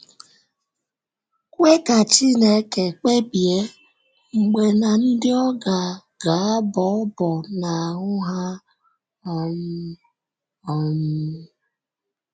Kwee ka Chineke kpebie mgbe na ndị ọ ga - ga - abọ ọ́bọ̀ n’ahụ́ ha um. um